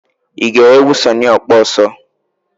I gere egwu Sunny Okposo's?